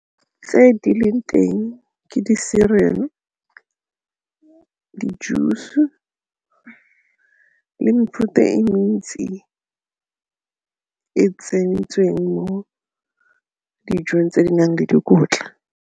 Tse di leng teng ke di-cereal, di-juice-e le mefuta e mentsi e tsentsweng mo dijong tse di nang le dikotla.